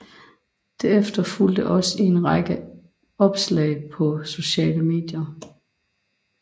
Det efterfulgte også i en række opslag på sociale medier